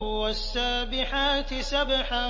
وَالسَّابِحَاتِ سَبْحًا